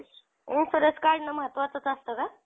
insurance काढणं महात्वाचंच असत का?